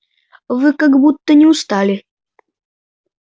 вы как будто не устали